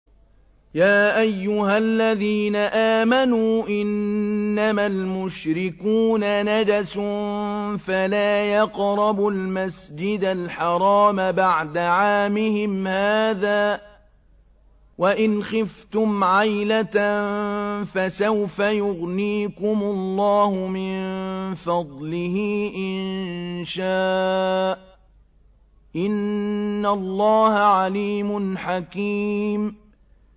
يَا أَيُّهَا الَّذِينَ آمَنُوا إِنَّمَا الْمُشْرِكُونَ نَجَسٌ فَلَا يَقْرَبُوا الْمَسْجِدَ الْحَرَامَ بَعْدَ عَامِهِمْ هَٰذَا ۚ وَإِنْ خِفْتُمْ عَيْلَةً فَسَوْفَ يُغْنِيكُمُ اللَّهُ مِن فَضْلِهِ إِن شَاءَ ۚ إِنَّ اللَّهَ عَلِيمٌ حَكِيمٌ